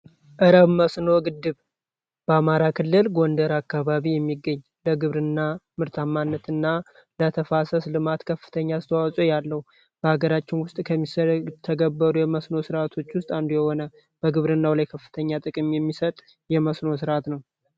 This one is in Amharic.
መስኖ ግድብ በአማራ ክልል ጎንደር አካባቢ የሚግብርና ምርታማነትና ተፋሰስ ልማት ከፍተኛ አስተዋጾ ያለው በሀገራችን ውስጥ ከምስኖ ስርዓቶች ውስጥ አንዱ የሆነ የከፍተኛ ጥቅም የሚሰጥ የመስራት ነው።